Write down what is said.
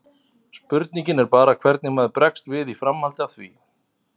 Spurningin er bara hvernig maður bregst við í framhaldi af því.